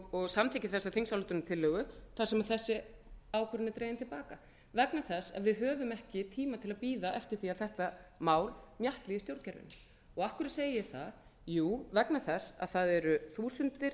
og samþykkir þessa þingsályktunartillögu þar sem þessi ákvörðun er dregin til baka vegna þess að við höfum ekki tíma til að bíða eftir að þetta mál mjatli í stjórnkerfinu og af hverju segi ég það jú vegna þess að það eru þúsundir